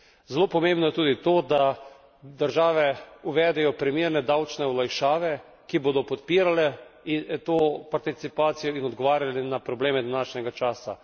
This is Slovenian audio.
Zelo pomembno je tudi to, da države uvedejo primerne davčne olajšave, ki bodo podpirale to participacijo in odgovarjale na probleme današnjega časa.